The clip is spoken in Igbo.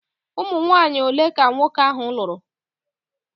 Ụmụnwanyị ole ka nwoke ahụ lụrụ?